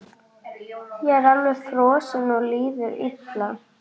Ég er alveg frosinn og líður illa.